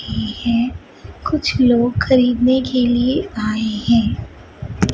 यह कुछ लोग खरीदने के लिए आए हैं।